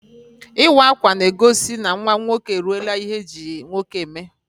Ịwa akwa n'egosi na nwa nwoke e ruola ihe eji nwoke eme